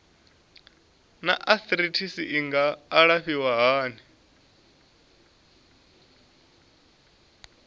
naa arthritis i nga alafhiwa hani